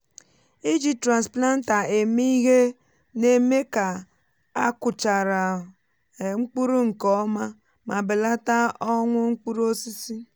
iji transplanter èmé ihe na-eme ka a kụchaara um mkpụrụ nke ọma ma belata ọnwụ mkpụrụ osisi.